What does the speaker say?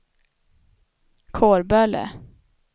Kårböle